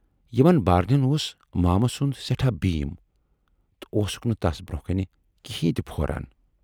یِمن بارنٮ۪ن اوس مامہٕ سُند سٮ۪ٹھاہ بھیٖم تہٕ اوسُکھ نہٕ تَس برونہہ کنہِ کِہِنۍ تہِ پھوران۔